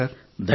ధన్యవాదాలు